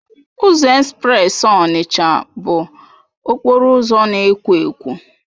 Ụzọ espreesi Onitsha bụ okporo ụzọ na-ekwo ekwo.